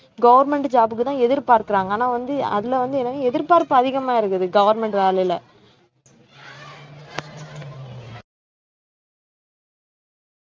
government job க்குதான் எதிர்பார்க்கிறாங்க ஆனா வந்து அதுல வந்து என்னன்னா எதிர்பார்ப்பு அதிகமா இருக்குது government வேலையில